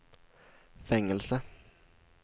fängelse